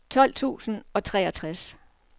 tolv tusind og treogtres